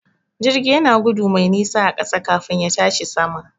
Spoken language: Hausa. Jirgi yana gudu mai nisa a ƙasa kafin ya tashi sama.